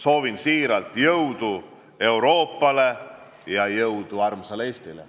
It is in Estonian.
Soovin siiralt jõudu Euroopale ja armsale Eestile.